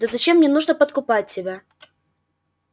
да зачем мне нужно подкупать тебя